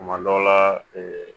Kuma dɔ la